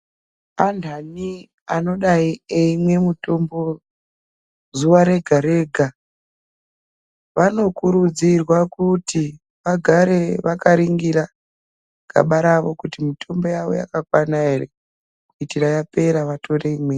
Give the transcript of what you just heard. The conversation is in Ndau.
Anthani anodai eimwe mutombo zuwa rega-rega ,vanokurudzirwa kuti ,vagare vakaringira gaba ravo kuti mitombo yavo yakakwana ere, kuitira yapera vatore imweni.